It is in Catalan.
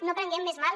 no prenguem més mal